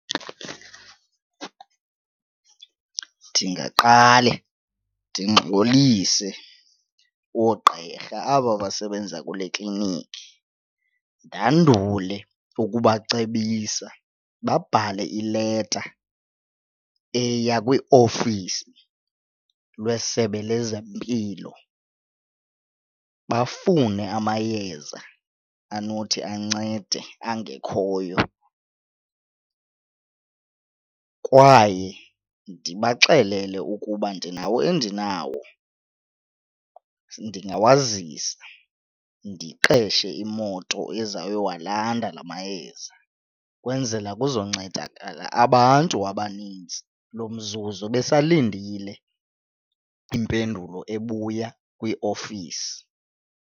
Ndingaqale ndingxolise oogqirha aba basebenza kule klinikhi. Ndandule ukubacebisa babhale ileta eya kwiOfisi lweSebe lezeMpilo bafune amayeza anothi ancede angekhoyo kwaye ndibaxelele ukuba ndinawo endinawo ndingawazisa. Ndiqeshe imoto ezayowalanda la mayeza kwenzela kuzoncedakala abantu abaninzi lo mzuzu besalindile impendulo ebuya kwiofisi.